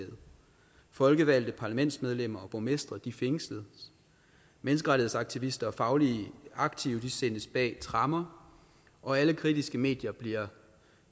folkevalgte parlamentsmedlemmer og borgmestre fængsles menneskerettighedsaktivister og fagligt aktive sættes bag tremmer og alle kritiske medier bliver